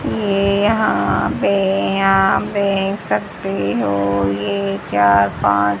ये यहां पे आप देख सकते हो ये चार पांच--